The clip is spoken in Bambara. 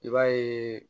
I b'a ye